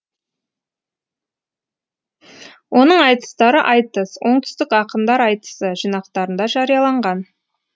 оның айтыстары айтыс оңтүстік ақындар айтысы жинақтарында жарияланған